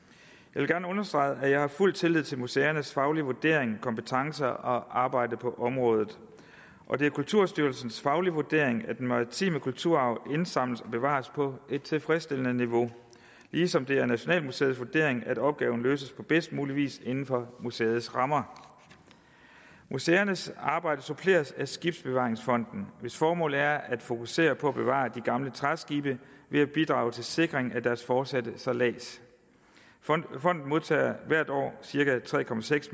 vil gerne understrege at jeg har fuld tillid til museernes faglige vurdering kompetence og arbejde på området og det er kulturstyrelsens faglige vurdering at den maritime kulturarv indsamles og bevares på et tilfredsstillende niveau ligesom det er nationalmuseets vurdering at opgaven løses på bedst mulig vis inden for museets rammer museernes arbejde suppleres af skibsbevaringsfonden hvis formål er at fokusere på at bevare de gamle træskibe ved at bidrage til sikring af deres fortsatte sejlads fonden modtager hvert år cirka tre